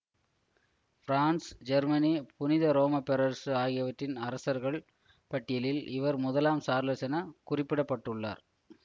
France Germany புனித ரோம பேரரசு ஆகியவற்றின் அரசர்கள் பட்டியலில் இவர் முதலாம் சார்லஸ் என குறிப்பிடப்பட்டுள்ளார்